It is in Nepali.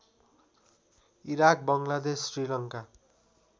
इराक बङ्गलादेश श्रीलङ्का